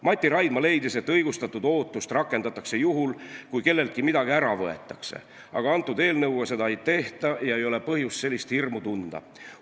Mati Raidma leidis, et õigustatud ootust rakendatakse juhul, kui kelleltki midagi ära võetakse, aga selle eelnõuga seda ei tehta ja pole põhjust sellist hirmu tunda.